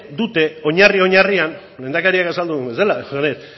oinarri oinarrian lehendakariak azaldu duena